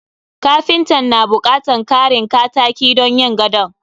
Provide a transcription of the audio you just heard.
Kapintan na bukatan karin kataki don yin gadon.